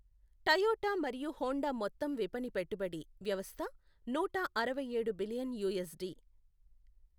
Toyota మరియు Honda మొత్తం విపణి పెట్టుబడి వ్యవస్థ నూట అరవైఏడు బిలియన్ యూఎస్డి .